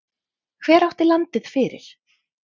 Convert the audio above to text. Hver átti landið fyrir?